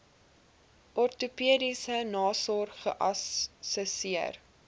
ortopediese nasorg geassesseer